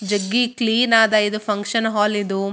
ಜಗ್ಗಿ ಕ್ಲೀನ್ ಆದ ಇದು ಫಂಕ್ಷನ್ ಹಾಲ್ ಇದು.